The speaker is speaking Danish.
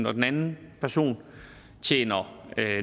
og den anden person tjener